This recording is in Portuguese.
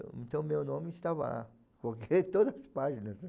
Então meu nome estava lá, porque todas as páginas, né?